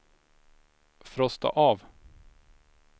frosta av